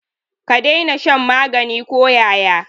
Ka daina shan magani ko yaya.